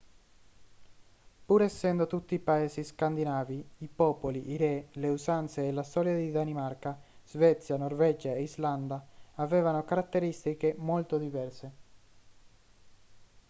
pur essendo tutti paesi scandinavi i popoli i re le usanze e la storia di danimarca svezia norvegia e islanda avevano caratteristiche molto diverse